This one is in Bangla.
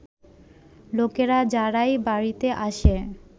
লোকেরা, যারাই বাড়িতে আসে